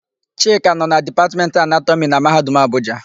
Chika nọ na Dipatmentị Anatọmị na Mahadum Abuja.